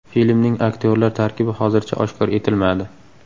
Filmning aktyorlar tarkibi hozircha oshkor etilmadi.